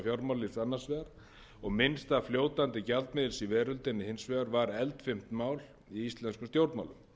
vegar og minnsta fljótandi gjaldmiðils í veröldinni hins vegar var eldfimt mál í íslenskum stjórnmálum